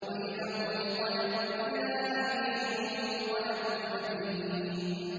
وَإِذَا انقَلَبُوا إِلَىٰ أَهْلِهِمُ انقَلَبُوا فَكِهِينَ